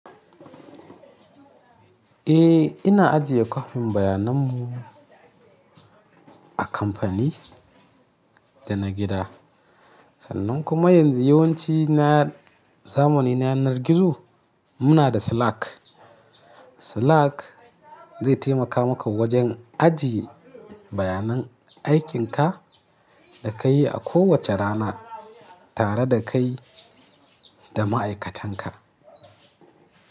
Eh ina ajiye kwafin bayananmu a kamfani da na gida. Sannan kuma yanzu yawanci na zamani na yanar gizo muna da Slack. Slack zai taimaka maka wajen ajiye bayanan aikinka da ka yi a kowace rana tare da kai da ma'aikatanka.